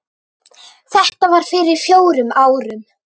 Þetta var fyrir fjórum árum.